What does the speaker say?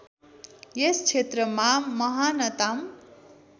यस क्षेत्रमा महानतम